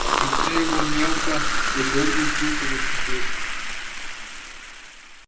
лицо его мелко задёргалось руки затряслись